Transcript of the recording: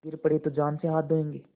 गिर पड़े तो जान से हाथ धोयेंगे